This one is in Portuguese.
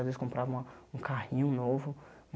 Às vezes comprava uma um carrinho novo.